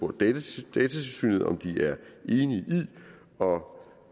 datatilsynet om de er enige i og